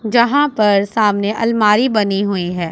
जहां पर सामने अलमारी बनी हुई है।